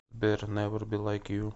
сбер невер би лайк ю